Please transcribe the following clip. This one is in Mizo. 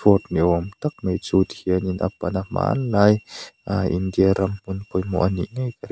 niawm tak mai chu tihianin a pan a hmanlai aaa India ram hmun pawimawh a nih ngei ka ring.